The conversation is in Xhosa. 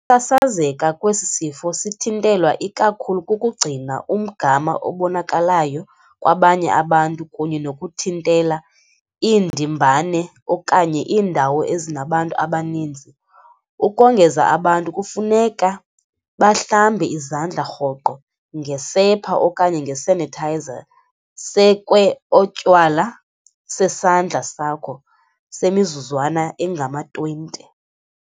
Sasazeka kwesi sifo kuthintelwa ikakhulu kukugcina umgama obonakalayo kwabanye abantu kunye nokuthintela iindimbane okanye iindawo ezinabantu abaninzi. Ukongeza abantu kufuneka bahlambe izandla rhoqo ngesepha okanye ngesanitizer sekwe otywala sesandla sakho semizuzwana engama-20.